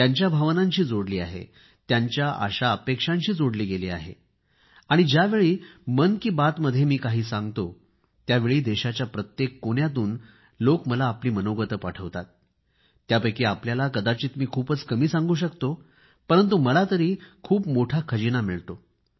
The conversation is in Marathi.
त्यांच्या भावनांशी जोडली आहे त्यांच्या आशाअपेक्षांशी जोडली गेली आहे आणि ज्यावेळी मन की बात मध्ये मी काही सांगतो त्यावेळी देशाच्या प्रत्येक भागातून लोक मला आपली गोष्ट पाठवतात त्यापैकी आपल्याला कदाचित मी खूपच कमी सांगू शकतो परंतु मला तरी खूप मोठा खजिना मिळतो